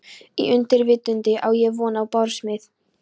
Í undirvitundinni á ég von á barsmíð.